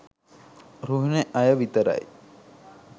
රුහුණෙ අය විතරයි